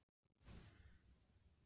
spurði Jón og bjóst til að fara.